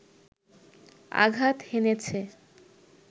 আঘাত হেনেছে